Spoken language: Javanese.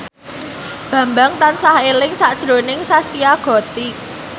Bambang tansah eling sakjroning Zaskia Gotik